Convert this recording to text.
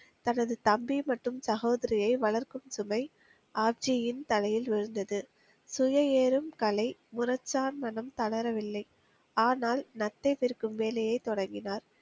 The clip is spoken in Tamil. தனது தம்பி மற்றும் சகோதரியை வளர்க்கும் சுமை ஆப்ஜியின் தலையில் விழுந்தது. சுய ஏறும் கலை, மனம் தளரவில்லை. ஆனால், நத்தை விற்கும் வேலையை தொடங்கினார்.